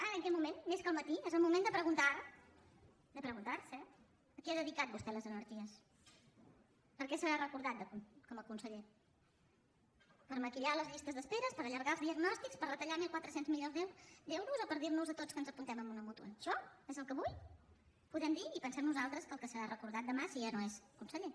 ara en aquest moment més que al matí és el moment de preguntar de preguntar se a què ha dedicat vostè les energies per què serà recordat com a conseller per maquillar les llistes d’espera per allargar els diagnòstics per retallar mil quatre cents milions d’euros o per dir nos a tots que ens apuntem a una mútua això és el que avui podem dir i pensem nosaltres pel que serà recordat demà si ja no és conseller